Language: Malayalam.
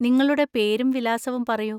നിങ്ങളുടെ പേരും വിലാസവും പറയൂ.